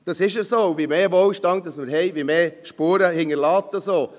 Das ist so, und je mehr Wohlstand wir haben, umso mehr Spuren hinterlässt das auch.